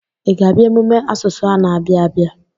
Ị ga-abịa emume asụsụ a na-abịa abịa.